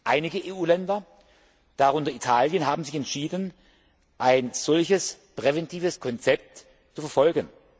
Einige EU Länder, darunter Italien, haben sich entschieden, ein solches präventives Konzept zu verfolgen.